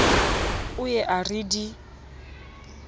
o ye a re di